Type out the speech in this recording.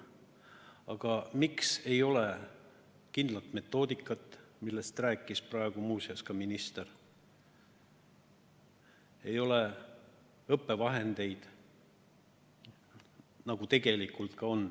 Aga miks ei ole kindlat metoodikat, millest rääkis praegu muuseas ka minister, ei ole õppevahendeid?